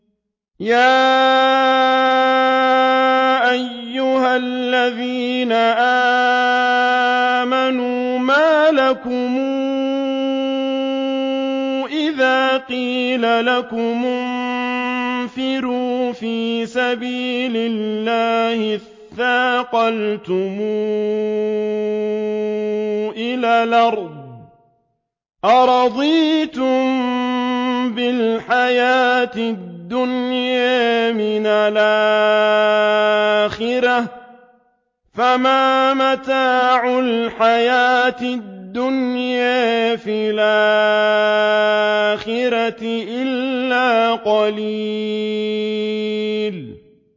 يَا أَيُّهَا الَّذِينَ آمَنُوا مَا لَكُمْ إِذَا قِيلَ لَكُمُ انفِرُوا فِي سَبِيلِ اللَّهِ اثَّاقَلْتُمْ إِلَى الْأَرْضِ ۚ أَرَضِيتُم بِالْحَيَاةِ الدُّنْيَا مِنَ الْآخِرَةِ ۚ فَمَا مَتَاعُ الْحَيَاةِ الدُّنْيَا فِي الْآخِرَةِ إِلَّا قَلِيلٌ